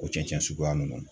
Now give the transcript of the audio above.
O cɛncɛn suguya nunnu.